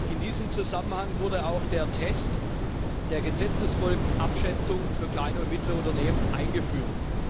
In diesem Zusammenhang wurde auch der Test der Gesetzesfolgenabschätzung für kleine und mittlere Unternehmen eingeführt.